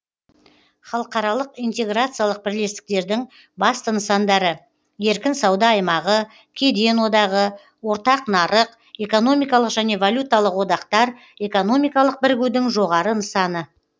халықаралық интеграциялық бірлестіктердің басты нысандары еркін сауда аймағы кеден одағы ортақ нарық экономикалық және валюталық одақтар экономикалық бірігудің жоғары нысаны